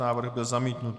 Návrh byl zamítnut.